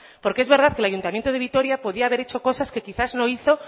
porque es verdad que el ayuntamiento de vitoria podía haber hecho cosas que quizás no hizo